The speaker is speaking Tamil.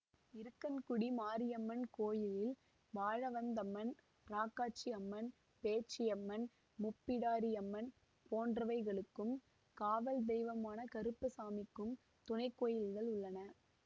இருக்கன்குடி மாரியம்மன் கோயிலில் வாழவந்தம்மன் ராக்காச்சி அம்மன் பேச்சியம்மன் முப்பிடாரியம்மன் போன்றவைகளுக்கும் காவல்தெய்வமான கருப்பசாமிக்கும் துணை கோயில்கள் உள்ளன